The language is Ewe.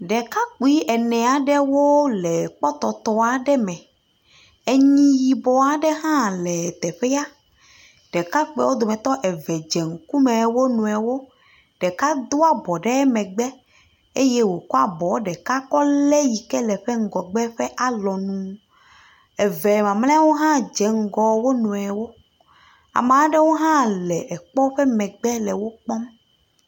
Ɖekakpui ene aɖewo le kpɔtɔtɔ aɖewo me. Enyi yibɔ aɖe hã le teƒea. Ɖekapuiawo dometɔ eve dze ŋku me wo nɔrewo. Ɖeka doa bɔ ɖe megbe eye wokɔ abɔ ɖeka kɔ le eyi ke le ƒe ŋgɔgbe ƒe alɔnu. Eve mamleawo hã dze ŋgɔ wo nɔewo. Ame aɖewo hã le ekpɔ ƒe nu megbe le wokpɔm.